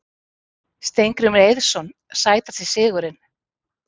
Steingrímur Eiðsson Sætasti sigurinn?